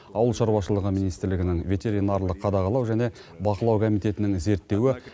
ауыл шаруашылығы министрлігінің ветеринарлық қадағалау және бақылау комитетінің зерттеуі